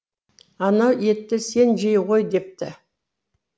анау етті сен жей ғой депті